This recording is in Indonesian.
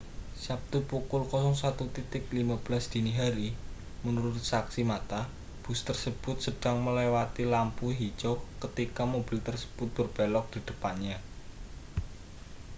sabtu pukul 01.15 dini hari menurut saksi mata bus tersebut sedang melewati lampu hijau ketika mobil tersebut berbelok di depannya